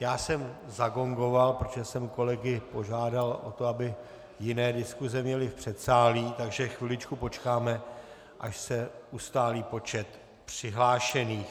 Já jsem zagongoval, protože jsem kolegy požádal o to, aby jiné diskuse měly v předsálí, takže chviličku počkáme, až se ustálí počet přihlášených.